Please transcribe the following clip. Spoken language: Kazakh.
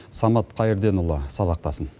самат қайрденұлы сабақтасын